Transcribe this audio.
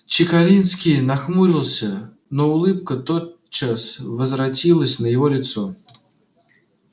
чекалинский нахмурился но улыбка тотчас возвратилась на его лицо